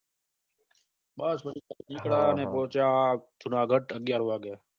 બસ ત્યાંથી નીકળ્યા ને પહોચ્યા જુનાગઢ અગ્યાર વાગે